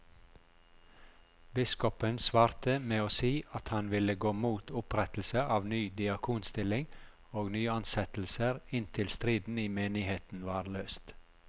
Biskopen svarte med å si at han ville gå mot opprettelse av ny diakonstilling og nyansettelser inntil striden i menigheten var løst.